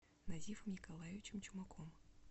назифом николаевичем чумаком